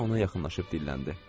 Parena ona yaxınlaşıb dilləndi.